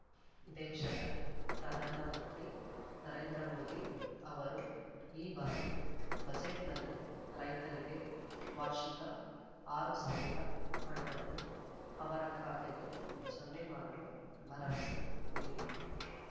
ದೇಶದ ಪ್ರಧಾನ ಮಂತ್ರಿ ನರೇಂದ್ರಮೋದಿ ಅವರು ಈ ಬಾರಿ ಬಜೆಟ್‌ನಲ್ಲಿ ರೈತರಿಗೆ ವಾರ್ಷಿಕ ಆರು ಸಾವಿರ ಹಣವನ್ನು ಅವರ ಖಾತೆಗೆ ಜಮೆ ಮಾಡುವ ಭರವಸೆ ನೀಡಿದ್ದು